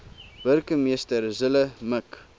burgemeester zille mik